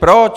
Proč?